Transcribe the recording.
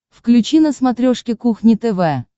включи на смотрешке кухня тв